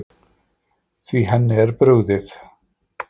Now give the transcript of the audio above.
Því henni er brugðið.